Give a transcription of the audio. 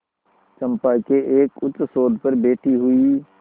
चंपा के एक उच्चसौध पर बैठी हुई